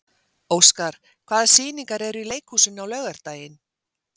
Óskar, hvaða sýningar eru í leikhúsinu á laugardaginn?